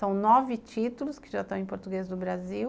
São nove títulos que já estão em português do Brasil.